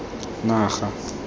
naga